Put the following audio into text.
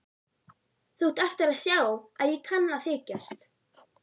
Þú átt eftir að sjá að ég kann að þykjast.